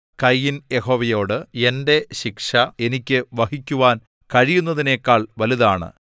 കയീൻ യഹോവയോട് എന്റെ ശിക്ഷ എനിക്ക് വഹിക്കുവാൻ കഴിയുന്നതിനെക്കാൾ വലുതാണ്